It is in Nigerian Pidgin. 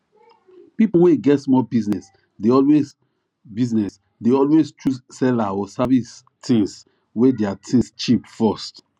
people wey get small business dey always business dey always choose seller or service things wey their things cheap first